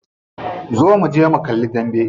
Zo muje mu kalli dambe.